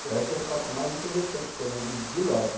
Então, esse é o fato mais interessante que eu lembro de loja.